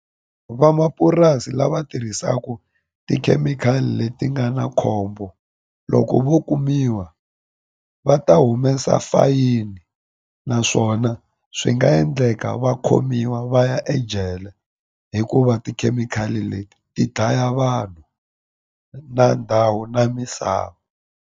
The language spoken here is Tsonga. Van'wamapurasi lava tirhisaka tikhemikhali leti nga na khombo loko vo kumiwa va ta humesa fayini na swona swi nga endleka va khomiwa va ya ejele hikuva tikhemikhali leti ti dlaya vanhu na ndhawu na misava.